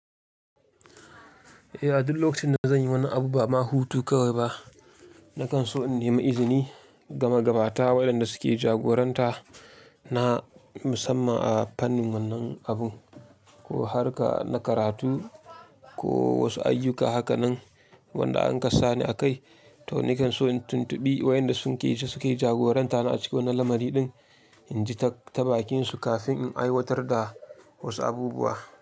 Eh, a duk lokacin da zan yi wani abu ba ma hutu kawai ba, na kan so in nemi izini, gama gabata waɗanda suke jagoranta na musamman a fannin wannan abu ko harka na karatu ko wasu ayyuka haka nan wanda an kasani a kai. To nakan so in tuntubi wayanda sun ke so suke jagoranta na a cikin wannan lamari din, in ji ta tabakinsu kafin in aiwatar da wasu abubuwa.